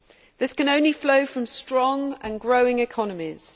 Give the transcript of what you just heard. This can only flow from strong and growing economies.